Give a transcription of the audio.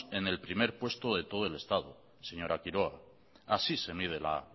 en el primer puesto de todo el estado señora quiroga así se mide la